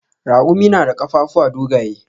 Raƙumi na da ƙafafuwa dogaye.